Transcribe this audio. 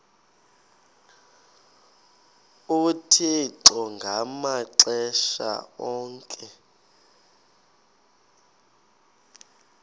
uthixo ngamaxesha onke